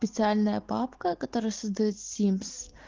специальная папка которая создаёт симс